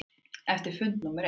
Eftir fund númer eitt.